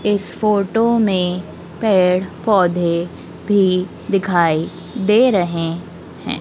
इस फोटो में पेड़ पौधे भी दिखाई दे रहे हैं।